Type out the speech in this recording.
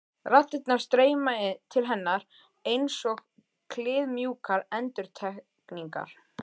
Raddirnar streyma til hennar einsog kliðmjúkar endurtekningar.